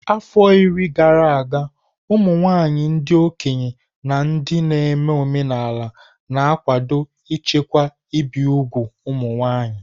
Afọ iri gara aga, ụmụ nwanyị ndị okenye na ndị na-eme omenala na-akwado ichekwa ibi úgwù ụmụ nwanyị.